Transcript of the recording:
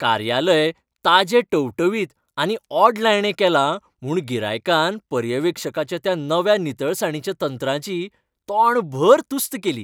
कार्यालय ताजें टवटवीत आनी ओडलायणें केलां म्हूण गिरायकान पर्यवेक्षकाच्या त्या नव्या नितळसाणीच्या तंत्राची तोंडभर तुस्त केली.